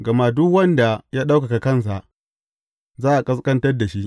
Gama duk wanda ya ɗaukaka kansa, za a ƙasƙantar da shi.